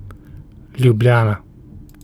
Ljubljana.